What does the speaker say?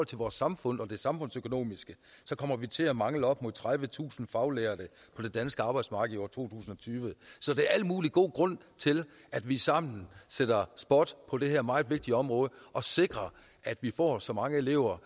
til vores samfund og det samfundsøkonomiske kommer vi til at mangle op mod tredivetusind faglærte på det danske arbejdsmarked i år to og tyve så der er al mulig god grund til at vi sammen sætter spot på det her meget vigtige område og sikrer at vi får så mange elever